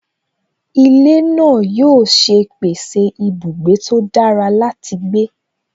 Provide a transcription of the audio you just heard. Ilé náà yóò ṣe pèsè ibùgbé tó dára láti gbé